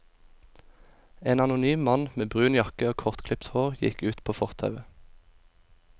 En anonym mann med brun jakke og kortklipt hår gikk ut på fortauet.